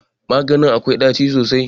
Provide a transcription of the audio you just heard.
Maganin akwai ɗaci sosai.